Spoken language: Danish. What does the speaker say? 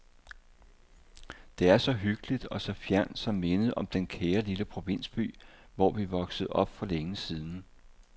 Det er så hyggeligt og så fjernt som mindet om den kære lille provinsby, hvor vi voksede op for længe siden.